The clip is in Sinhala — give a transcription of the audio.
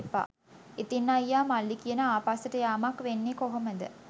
ඉතිං අයියා මල්ලි කියන ආපස්සට යාමක් වෙන්නේ කොහොමද?